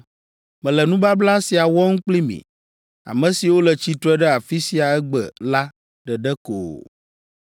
Mele nubabla sia wɔm kpli mi, ame siwo le tsitre ɖe afi sia egbe la ɖeɖe ko o,